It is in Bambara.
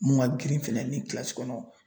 Mun ka girin fɛnɛ ni kilasi kɔnɔ